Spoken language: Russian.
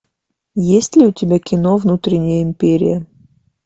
есть ли у тебя кино внутренняя империя